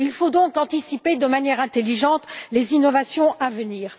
Il faut donc anticiper de manière intelligente les innovations à venir.